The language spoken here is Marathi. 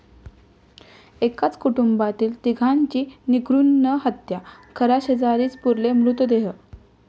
एकाच कुटुंबातील तिघांची निर्घृण हत्या, घराशेजारीच पुरले मृतदेह